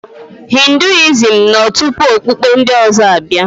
Hinduism nọ tupu okpukpe ndị ọzọ abịa.